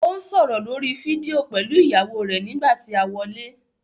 Ó ń sọ̀rọ̀ lórí fídíò pẹ̀lú ìyàwó rẹ̀ nígbà tí a wọlé.